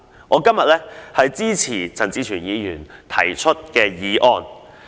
我今天支持陳志全議員的原議案。